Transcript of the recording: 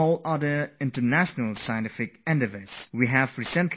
My dear fellow citizens, in the last few days we have taken an important decision